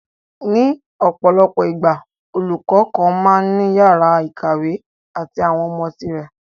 ní ọ̀pọ̀lọpọ̀ ìgbà, olùkọ́ kan máa ń ní yàrá ìkàwé àti àwọn ọmọ tirẹ̀